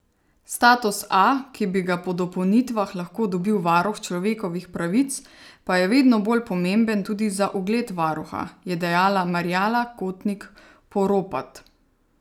Status A, ki bi ga po dopolnitvah lahko dobil varuh človekovih pravic, pa je vedno bolj pomemben tudi za ugled varuha, je dejala Marjana Kotnik Poropat.